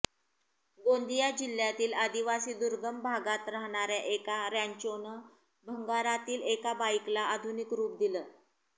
गोंदिया जिल्ह्यातील आदिवासी दुर्गम भागात राहणाऱ्या एका रँचोनं भंगारातील एका बाईकला आधुनिक रुप दिलं